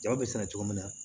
Ja bɛ sɛnɛ cogo min na